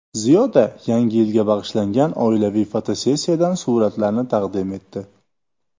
Ziyoda Yangi yilga bag‘ishlangan oilaviy fotosessiyadan suratlarni taqdim etdi.